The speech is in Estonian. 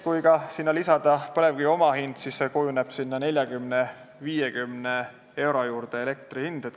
Kui sinna lisada põlevkivi omahind, siis kujuneb elektri hind 40–50 euro juurde.